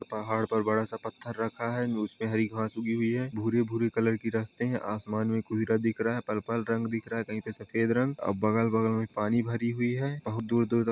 पहाड़ पर बड़ा सा पथर रखा है उसमे हरी घास उगी हुई हैभूरी-भूरी कलर की रास्ते है आसमान में काहिरा दिख रहा हैपर्पल रंग दिख रहा हैकही पे सफेद रंग और बगल-बगल में पानी भरी हुई बहुत दूर-दूर तक।